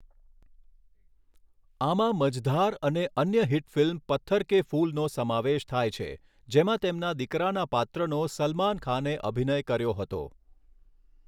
આમાં 'મજધાર' અને અન્ય હિટ ફિલ્મ 'પથ્થર કે ફૂલ'નો સમાવેશ થાય છે, જેમાં તેમના દીકરાના પાત્રનો સલમાન ખાને અભિનય કર્યો હતો.